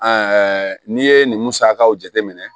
n'i ye nin musakaw jateminɛ